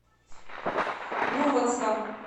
мурманском